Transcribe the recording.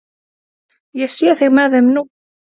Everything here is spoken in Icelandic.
Ég sé þig með þeim nú.